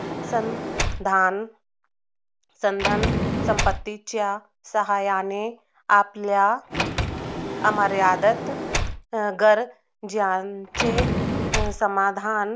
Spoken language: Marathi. सण धान संपत्तीच्या संधान संपत्तीच्या साहाय्याने आपल्या अमर्यादित गरजांची समाधान